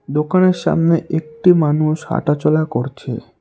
দোকানের সামনে একটি মানুষ হাঁটাচলা করছে।